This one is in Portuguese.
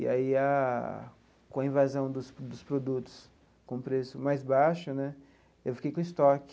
E aí a, com a invasão dos dos produtos com preço mais baixo né, eu fiquei com estoque.